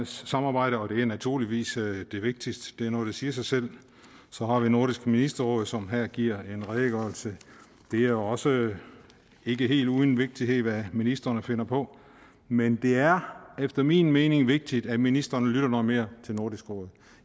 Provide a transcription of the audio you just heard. samarbejde og det er naturligvis det vigtigste det er noget der siger sig selv så har vi nordisk ministerråd som her giver en redegørelse det er også ikke helt uden vigtighed hvad ministrene finder på men det er efter min mening vigtigt at ministrene lytter noget mere til nordisk råd